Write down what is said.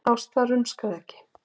Ásta rumskaði ekki.